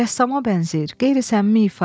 Rəssama bənzəyir, qeyri-səmimi ifa.